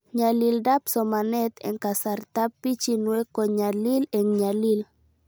Nyalildab somanet eng' kasartab pichinwek ko nyalil eng'nyalil